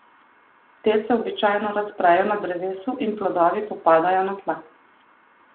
Te se običajno razprejo na drevesu in plodovi popadajo na tla.